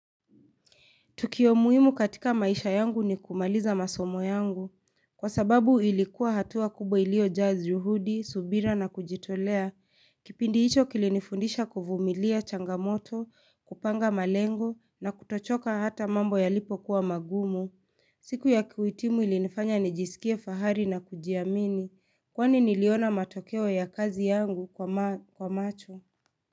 Tukio muhimu katika maisha yangu ni kumaliza masomo yangu, kwa sababu ilikuwa hatua kubwa iliyojaajyuhudi, subira na kujitolea, kipindi hicho kilinifundisha kuvumilia changamoto, kupanga malengo na kutochoka hata mambo yalipo kuwa magumu. Siku ya kuhitimu ilinifanya nijisikie fahari na kujiamini, kwani niliona matokeo ya kazi yangu kwa macho.